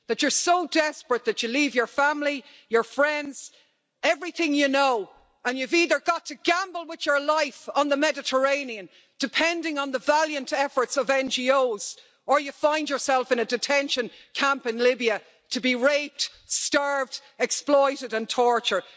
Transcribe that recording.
That you're so desperate that you leave your family, your friends, everything you know and you've either got to gamble with your life on the Mediterranean depending on the valiant efforts of NGOs or you find yourself in a detention camp in Libya to be raped, starved, exploited and tortured.